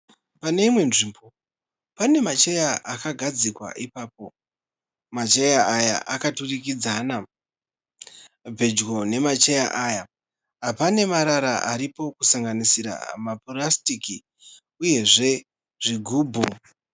Pane imwe nzvimbo pane macheya akagadzikwa ipapo, macheya aya akaturikidzana. Pedyo nemacheya aya pane marara aripo kusanganisira mapurastiki uyezve zvigubhu.